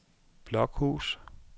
Blokhus